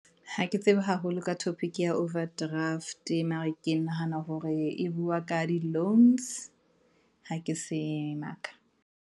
Ha ke tsebe haholo ka topic-i ke ya overdraft-e, mara ke nahana hore e bua ka di loans ha ke se maka.